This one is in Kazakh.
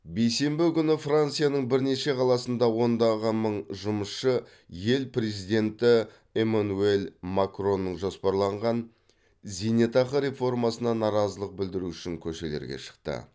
бейсенбі күні францияның бірнеше қаласында ондаған мың жұмысшы ел президенті эмманюэль макронның жоспарланған зейнетақы реформасына наразылық білдіру үшін көшелерге шықты